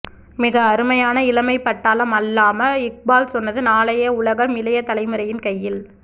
மிக அருமையான இளமை பட்டாளம் அல்லாமா இக்பால் சொன்னது நாளைய உலகம் இளைய தலைமுறையின் கையில்